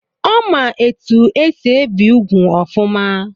Ọ ma etu esi ebi úgwù ọfụma.